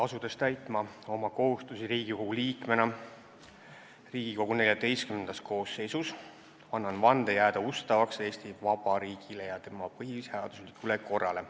Asudes täitma oma kohustusi Riigikogu liikmena Riigikogu XIV koosseisus, annan vande jääda ustavaks Eesti Vabariigile ja tema põhiseaduslikule korrale.